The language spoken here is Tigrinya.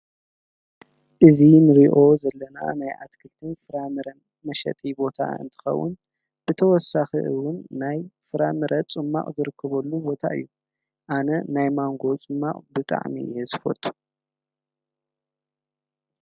እዚ ንሪኦ ዘለና ናይ ኣትክልትን ፍራምረን መሽጢ ቦታ እንትከዉን ብተወሳኪ እዉን ናይ ፍራምረ ፁማቅ ዝርከበሉ ቦታ እዩ ኣነ ናይ ማንጎ ፁማቅ ብጣዕሚ እየ ዝፈቱ።